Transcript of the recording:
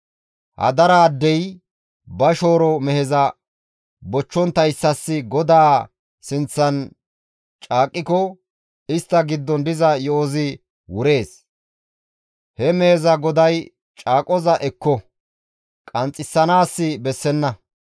hadaraaddey ba shooro meheza bochchonttayssas GODAA sinththan caaqqiko, istta giddon diza yo7ozi wurees. He meheza goday caaqoza ekko; qanxxisanaas bessenna.